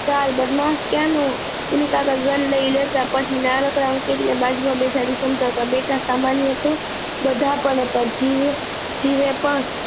ચાલ બદમાસ ક્યાં નું વીનું કાકા ઘન લઇ લેતા પછી નાનકડા અંકિત ને બાજુ માં બેસાડી સમ્જતાવતા બેટા ખંબા નહિ આવ તો બધા પરજીવ જીવે પણ